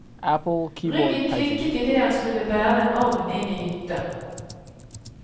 Ryggen klikket idet han skulle bære en ovn inn i hytta.